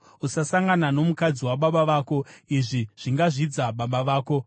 “ ‘Usasangana nomukadzi wababa vako, izvi zvingazvidza baba vako.